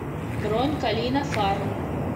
бронь калина фарм